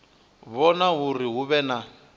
vhona uri hu vhe na